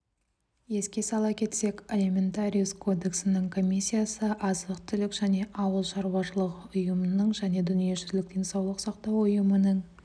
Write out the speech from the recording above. еске сала кетсек алиментариус кодексінің комиссиясы азық-түлік және ауыл шаруашылығы ұйымының және дүниежүзілік денсаулық сақтау ұйымының